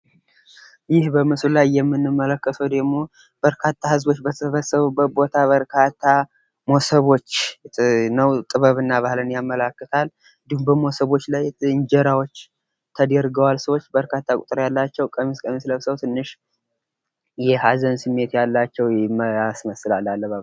ይህ በምስሉ ላይ የምንመለከተዉ ደግሞ በርካታ ህዝቦች በተሰበሰቡብት ቦታ በርካታ ሞሰቦች ነው ጥበብና ባህልን ያመላክታል ።እንዲሁም በሰዎች ላይ እንጀራዎች ተደርገዋል። ሰዎች በርካታ ቁጥር ያላቸው ቀሚስ ቀሚስ ለብሰው ትንሽ የሀዘን ስሜት ያላቸው ያስመስላል አለባበሳቸው።